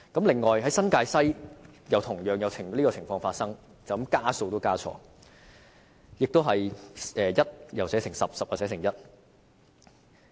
此外，新界西同樣發生這情況，加數也加錯，也是把10寫成1。